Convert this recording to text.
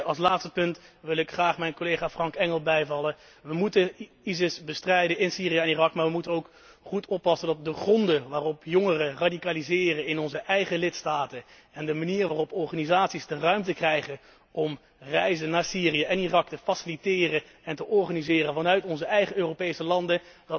Ten slotte wil ik graag mijn collega Frank Engel bijvallen we moeten ISIS bestrijden in Syrië en Irak, maar we moeten ook goed letten op de gronden waarop jongeren radicaliseren in onze eigen lidstaten en de manieren waarop organisaties de ruimte krijgen om reizen naar Syrië en Irak te faciliteren en te organiseren vanuit onze eigen Europese landen.